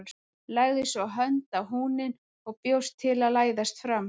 Lagði svo hönd á húninn og bjóst til að læðast fram.